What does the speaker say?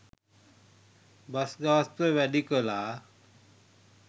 bus ගාස්තුව වැඩි කළා